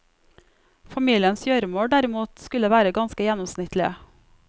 Familiens gjøremål derimot skulle være ganske gjennomsnittlige.